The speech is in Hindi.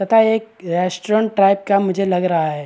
तथा एक रेस्टॉरंट टाइप का मुझे लग रहा है।